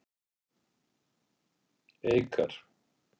Eikar